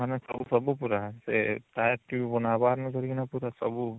ମାନେ ସବୁ ସବୁ ପୁରା ସେ tyre tube ବନା ହବାର ଧରିକିନା ସବୁ